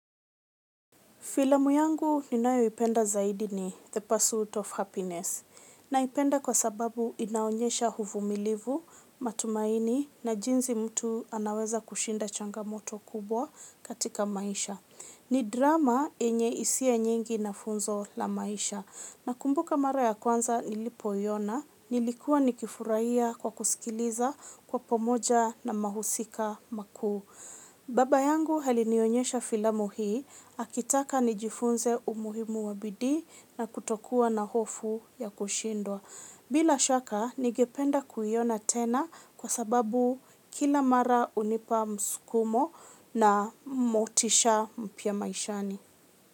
Filamu yangu ninayoipenda zaidi ni The Pursuit of Happiness. Naipenda kwa sababu inaonyesha uvumilivu, matumaini na jinsi mtu anaweza kushinda changamoto kubwa katika maisha. Ni drama yenye hisia nyingi na funzo la maisha. Nakumbuka mara ya kwanza nilipoiona, nilikuwa nikifurahia kwa kusikiliza kwa pamoja na mahusika makuu. Baba yangu alinionyesha filamu hii, akitaka nijifunze umuhimu wa bidii na kutokuwa na hofu ya kushindwa. Bila shaka, ningependa kuiona tena kwa sababu kila mara unipa msukumo na motisha mpya maishani.